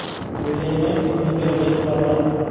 O‘ylaymanki, uning kelajagi porloq.